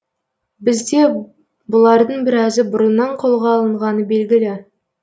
бізде бұлардың біразы бұрыннан қолға алынғаны белгілі